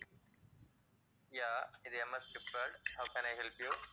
yeah இது M. S. Gift world, how can I help you?